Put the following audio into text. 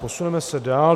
Posuneme se dál.